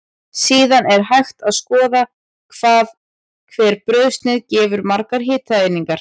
Síðan er hægt að skoða hvað hver brauðsneið gefur margar hitaeiningar.